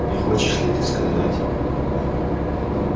не хочешь ли ты сказать